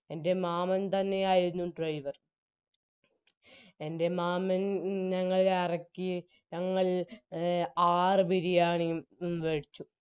എൻറെ മാമൻ തന്നെയായിരുന്നു driver എൻറെ മാമൻ ഞങ്ങളെ അറക്കി ഞങ്ങൾ ആറ് ബിരിയാണിയും കഴിച്ചു